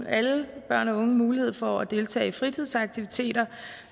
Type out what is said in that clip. alle børn og unge mulighed for at deltage i fritidsaktiviteter